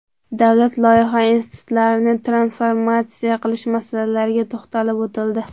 Davlat loyiha institutlarini transformatsiya qilish masalalariga to‘xtalib o‘tildi.